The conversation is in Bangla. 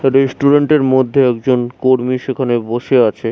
রেস্টুরেন্ট -এর মধ্যে একজন কর্মী সেখানে বসে আছে ।